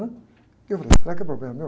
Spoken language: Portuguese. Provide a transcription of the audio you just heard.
Que eu falei, será que é problema meu?